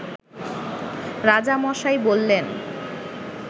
রাজামশাই বললেন